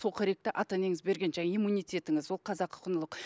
сол қоректі ата енеңіз берген жаңегі иммунитетіңіз ол қазақы құндылық